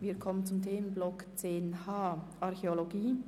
Wir kommen zum Themenblock 10.h Archäologie.